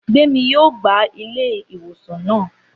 Gbémi yóò gbá ilé ìwòsàn naa